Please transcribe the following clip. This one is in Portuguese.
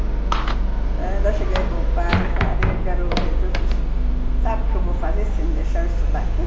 Então, eu ainda cheguei para o padre que era o reitor e falei assim, sabe o que eu vou fazer se você não deixar eu estudar aqui?